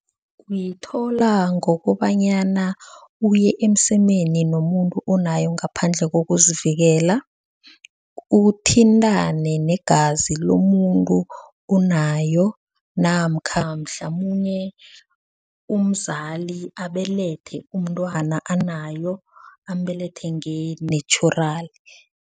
Uyithola ngokobanyana uye emsemeni nomuntu onayo ngaphandle kokuzivikela. Uthintane negazi lomuntu onayo namkha mhlamunye umzali abelethe umntwana anayo, ambelethe nge-natural.